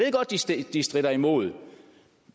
de stritter imod